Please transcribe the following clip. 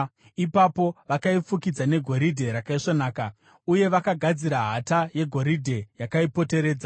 Ipapo vakaifukidza negoridhe rakaisvonaka uye vakagadzira hata yegoridhe yakaipoteredza.